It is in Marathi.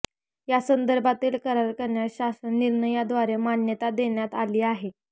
यासंदर्भातील करार करण्यास शासन निर्णयाद्वारे मान्यता देण्यात आली आहे